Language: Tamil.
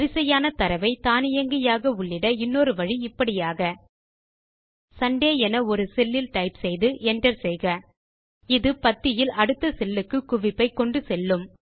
வரிசையான தரவை தானியங்கியாக உள்ளிட இன்னொரு வழி இப்படியாக சுண்டே என ஒரு செல் இல் டைப் செய்து Enter செய்கஇது பத்தியில் அடுத்த செல்லுக்கு குவிப்பை கொண்டு செல்லும்